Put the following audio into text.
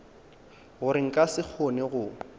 gore nka se kgone go